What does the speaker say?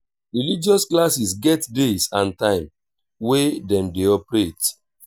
religious classes get days and time wey dem de operate